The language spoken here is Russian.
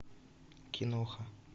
киноха